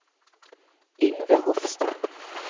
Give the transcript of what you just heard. Yngve Hofstad